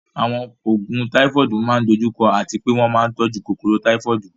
Àwọn oògùn Táífọ́ọ̀dù máa ń dojú kọ àti pé wọ́n máa ń tọ́jú kòkòrò Táífọ́ọ̀dù